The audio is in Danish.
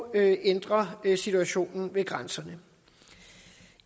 at ændre situationen ved grænserne